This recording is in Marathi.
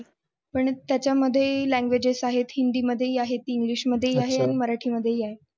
पण त्याच्या मध्ये ही languages आहे हिंदी मध्ये आहे, english मध्येही आहे आणि मराठीमध्येही आहे.